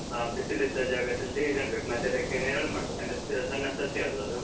ಹಾ, ಬಿಸಿಲಿದ್ದ ಜಾಗದಲ್ಲಿ ನೆಡ್ಬೇಕು. ಮತ್ತೆ ಅದಕ್ಕೆ, ನೆರಳ್ ಮಾಡ್ಬೇಕು. ಅಂದ್ರೆ ಸಣ್ಣ ಸಸಿಯಲ್ವಾ ಅದು?